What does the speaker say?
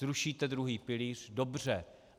Zrušíte druhý pilíř, dobře.